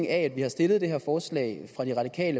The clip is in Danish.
af at vi har stillet det her forslag